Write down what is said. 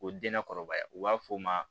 O denna kɔrɔbaya u b'a fɔ o ma